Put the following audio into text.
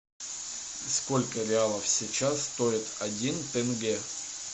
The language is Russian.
сколько реалов сейчас стоит один тенге